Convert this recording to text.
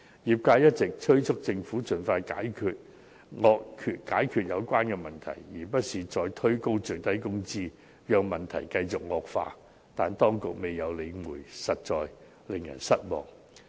業界一直催促政府盡快解決有關問題，而非再推高最低工資，讓問題繼續惡化，但當局未有理會，實在令人失望。